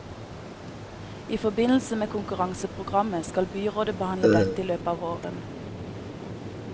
I forbindelse med konkurranseprogrammet skal byrådet behandle dette i løpet av våren.